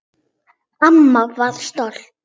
Amma var stolt.